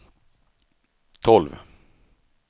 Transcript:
tolv